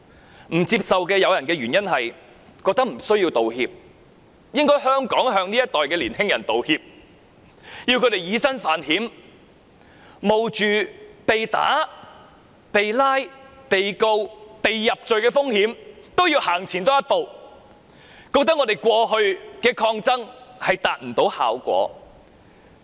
部分不接受道歉的人所持的理由是：年輕人無須道歉，反而香港應向這一代年輕人道歉，要他們以身犯險，冒着被打、被捕、被控告、被入罪的風險都要走前一步，覺得我們過去的抗爭未能達到效果。